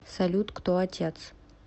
салют кто отец